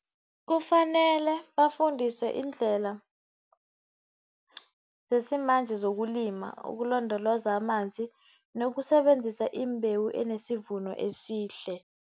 Kufanele bafundiswe iindlela zesimanje zokulima ukulondoloza amanzi, nokusebenzisa imbewu enesivuno esihle